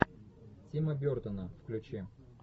тима бертона включи